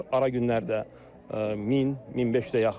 Ara günlərdə 1000, 1500-ə yaxın olur.